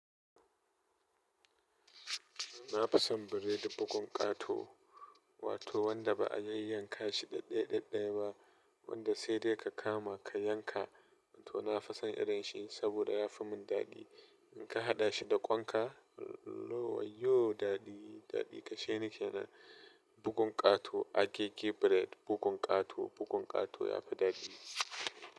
Nafi son biredi bugun ƙato, wato wanda ba a yayyanka shi ɗaɗɗaya ɗaɗɗaya ba, wanda sai dai ka kama ka yanka. To nafi son irin shi sabida yafi mun daɗi. In ka haɗa shi da ƙwan ka, no wayyoo daɗi, daɗi kashe ni kenan, bugun ƙato. Agege bread, bugun ƙato, bugun ƙato yafi daɗi.